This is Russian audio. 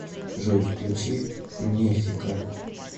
джой включи мефика